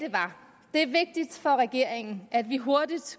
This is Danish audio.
det var vigtigt for regeringen at vi hurtigt